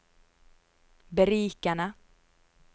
berikende